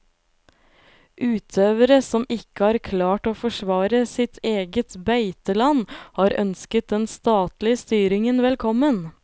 Utøvere som ikke har klart å forsvare sitt eget beiteland, har ønsket den statlige styringen velkommen.